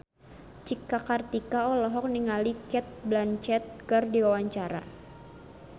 Cika Kartika olohok ningali Cate Blanchett keur diwawancara